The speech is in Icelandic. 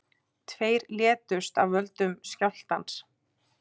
Tveir létust af völdum skjálftans